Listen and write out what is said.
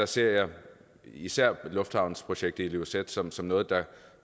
ser jeg især lufthavnsprojektet i ilulissat som som noget